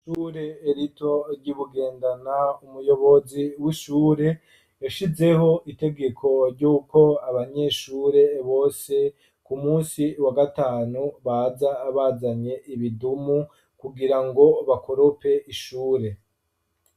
Ishure rito ry'i bugendana umuyobozi w'ishure yashizeho itegeko ry'uko abanyeshure bose ku munsi wa gatanu baja abazanye ibidumu kugira ngo bakorope ishure.